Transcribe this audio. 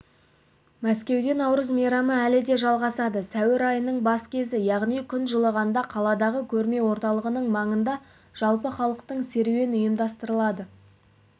мәскеуде наурыз мейрамы әлі де жалғасады сәуір айының бас кезі яғни күн жылығанда қаладағы көрме орталығының маңында жалпыхалықтық серуен ұйымдастырылады